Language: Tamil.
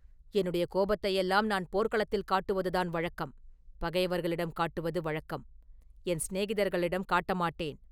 “என்னுடைய கோபத்தையெல்லாம் நான் போர்க்களத்தில் காட்டுவதுதான் வழக்கம்; பகைவர்களிடம் காட்டுவது வழக்கம்; என் சிநேகிதர்களிடம் காட்டமாட்டேன்.